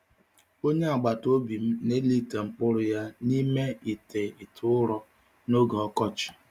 Onye agbata obi m na-eli ite mkpụrụ ya n’ime ite ite ụrọ n’oge ọkọchị.